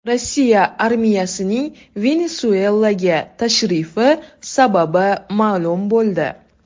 Rossiya armiyasining Venesuelaga tashrifi sababi ma’lum bo‘ldi.